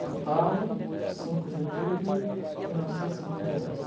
São Paulo, cinco de outubro de mil novecentos e cinquenta e dois.